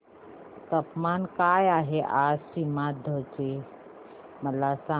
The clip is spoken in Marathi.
तापमान काय आहे आज सीमांध्र चे मला सांगा